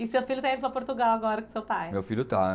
E seu filho está indo para Portugal agora com seu pai? Meu filho está